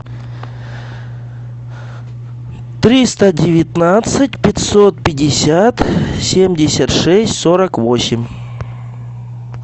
триста девятнадцать пятьсот пятьдесят семьдесят шесть сорок восемь